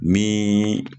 Ni